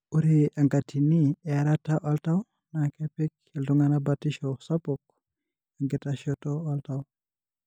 Ore enkatini earata oltau na kepik iltungana batisho sapuk enkitashoto oltau.